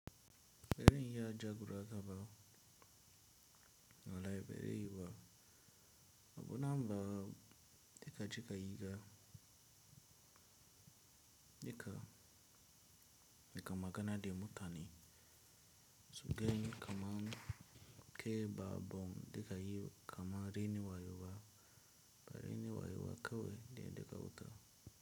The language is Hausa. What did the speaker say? Ba zan iya jagura ka ba, wallahi ba zan yi ba abun namu ba jeka cika yiba nika nikam magana de mutani. Su gani kamar kai ba bon deka yi kamar renim wayo ba karamin wayo a kawai de yeda ka huta.